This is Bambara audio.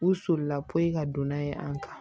U solila poyi ka don n'a ye an kan